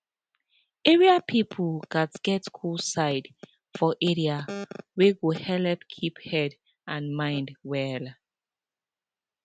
area people gats get cool side for area wey go helep keep head and mind well